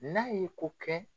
N'a ye ko kɛ